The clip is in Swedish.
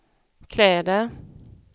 kläder